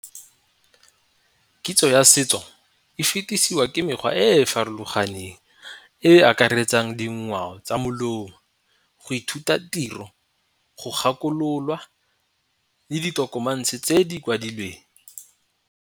Kitso ya setso e fetisiwa ke mekgwa e e farologaneng e e akaretsang dingwao tsa molomo go ithuta tiro, go gakololwa le di-documents tse di kwadilweng.